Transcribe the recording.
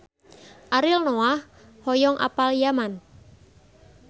Ariel Noah hoyong apal Yaman